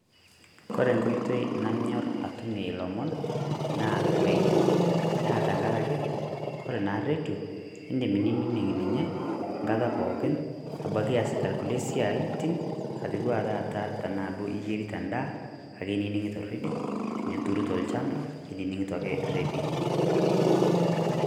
Kore nkotoi naanyor atumie lomon naa redio, naa tang'araki kore naa redio idim nining' ninye nkaata pookin abaki easita kulee siatin atua taata tana doo enyerita ndaa inining'ito redio, tinituruto lchamba inining'ito ake redio.